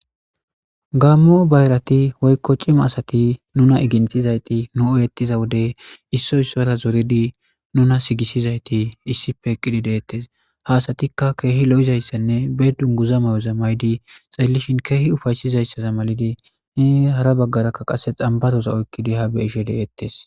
gaammo bayrati woykko cima asati nuna iginthizayti nu oyettiza wode isso issora zoridi nuna sigisizayti issife eqqidi deettes ha asatikka keehi lo7izayssanne beedun guza may7o za maydi xalallishin keehi ufaysizayssaza malidi ne hara baggarakka qase xambaroza oykkidi ha beishe deettes